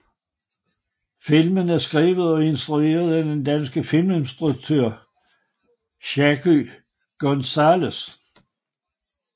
Filmen er skrevet og instrueret af den danske filminstruktør Shaky González